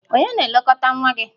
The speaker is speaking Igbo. Ònye na-elekọta nwa gị?